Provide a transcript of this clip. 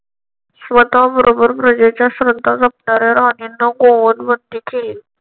स्वतःबरोबर प्रजेच्या श्रद्धा जपणाऱ्या राणीने गोवध बंदी केली.